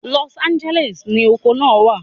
Los Angeles ni oko naa wa